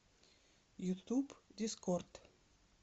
ютуб дискорд